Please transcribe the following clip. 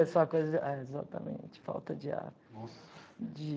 É, exatamente, falta de ar. Nossa...de...